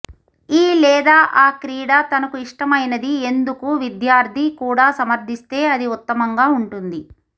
ఈ లేదా ఆ క్రీడ తనకు ఇష్టమైనది ఎందుకు విద్యార్థి కూడా సమర్థిస్తే అది ఉత్తమంగా ఉంటుంది